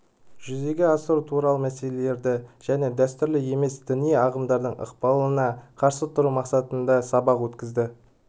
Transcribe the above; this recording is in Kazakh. жүзеге асыру туралы мәселелерді және дәстүрлі емес діни ағымдардың ықпалына қарсы тұру мақсатында сабақ өткізді